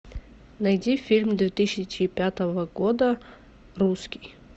найди фильм две тысячи пятого года русский